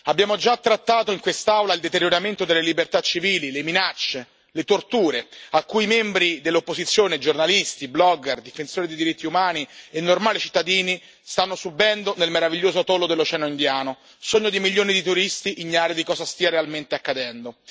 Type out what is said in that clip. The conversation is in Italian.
Abbiamo già trattato in quest'Aula il deterioramento delle libertà civili, le minacce, le torture che membri dell'opposizione e giornalisti, blogger, difensori dei diritti umani e normali cittadini stanno subendo nel meraviglioso atollo dell'Oceano Indiano, sogno di milioni di turisti ignari di cosa stia realmente accadendo.